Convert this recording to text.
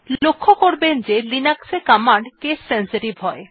লক্ষ্য করবেন যে লিনাক্স এ কমান্ড কেস সেনসিটিভ হয়